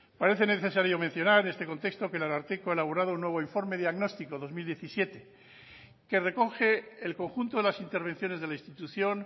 parece necesario mencionar en este contexto que el ararteko ha elaborado un nuevo informe diagnóstico dos mil diecisiete que recoge el conjunto de las intervenciones de la institución